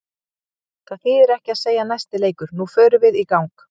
Það þýðir ekki að segja næsti leikur, nú förum við í gang.